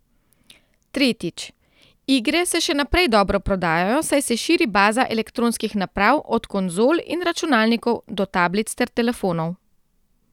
Tretjič, igre se še naprej dobro prodajajo, saj se širi baza elektronskih naprav, od konzol in računalnikov do tablic ter telefonov.